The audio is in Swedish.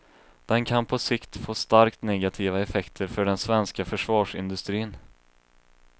Den kan på sikt får starkt negativa effekter för den svenska försvarsindustrin.